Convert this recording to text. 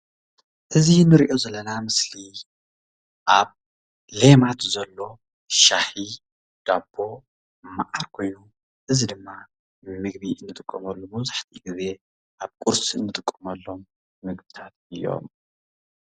እዚ ንሪኦ ዘለና ምስሊ ኣብ ሌማት ዘሎ ሻሂ ዳቦ መዓር ኮይኑ እዚ ድማ ንምግቢ ንጥቀመሉ መብዛሕቲኡ ግዜ ኣብ ቁርሲ ንጥቀመሎም ምግቢታት እዮም ።